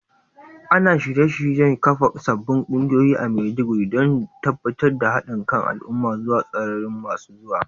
Ana ci gaba da shirye-shiryen kafa sabbin kungiyoyi a Maiduguri, domin tabbatar da hadin kan al’umma zuwa tsararraki masu zuwa.